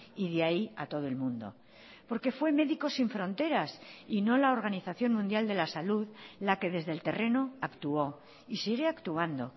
y de ahí a todo el mundo porque fue médicos sin fronteras y no la organización mundial de la salud la que desde el terreno actuó y sigue actuando